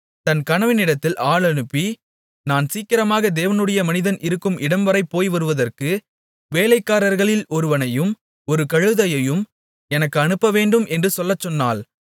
தன் கணவனிடத்தில் ஆள் அனுப்பி நான் சீக்கிரமாக தேவனுடைய மனிதன் இருக்கும் இடம்வரை போய்வருவதற்கு வேலைக்காரர்களில் ஒருவனையும் ஒரு கழுதையையும் எனக்கு அனுப்பவேண்டும் என்று சொல்லச்சொன்னாள்